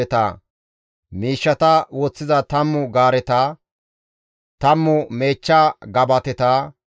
isttan miishshata woththiza 10 gaareta, 10 meechcha gabateta,